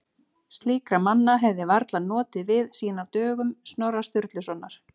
Slíkra manna hefði varla notið við síðan á dögum Snorra Sturlusonar.